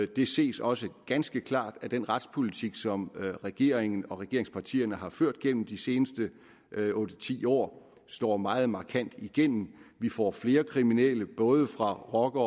det ses også ganske klart af at den retspolitik som regeringen og regeringspartierne har ført gennem de seneste otte ti år slår meget markant igennem vi får flere kriminelle både fra rocker